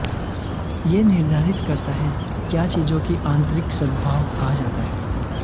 यह निर्धारित करता है क्या चीजों की आंतरिक सद्भाव कहा जाता है